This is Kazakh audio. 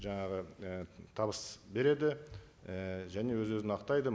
жаңағы і табыс береді і және өз өзін ақтайды